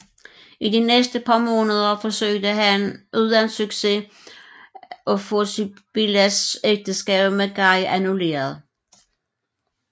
I de næste par måneder forsøgte han uden succes at få Sibyllas ægteskab med Guy annulleret